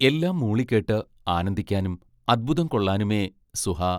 എല്ലാം മൂളിക്കേട്ട് ആനന്ദിക്കാനും അത്ഭുതം കൊള്ളാനുമേ സുഹാ